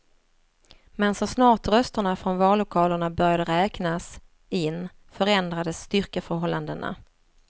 Men så snart rösterna från vallokalerna började räknas in förändrades styrkeförhållandena.